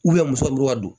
muso muru ka don